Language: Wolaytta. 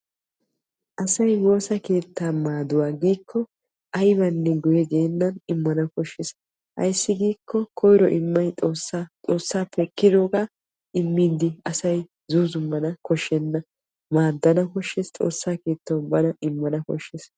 Asaay woosaa keetta maaduwaa giko aybane guye geenan immanawu koshshees. Aysi giko koyro immay xoossaappe ekkidoga immidi asay guye zuuzumanawu koshshena. Maaddana koshshees xoossaa keettawu bana immanawu koshshees.